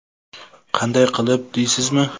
Qanday qilib deysizmi?